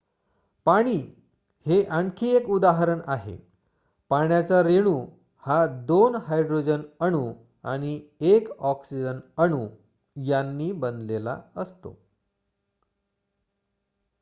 पाणी हे आणखी एक उदाहरण आहे पाण्याचा रेणू हा 2 हायड्रोजन अणू आणि 1 ऑक्सिजन अणू यांनी बनलेला असतो